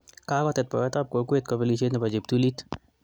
Kakotet poyot ap kokwet kopelishet nepo cheptulit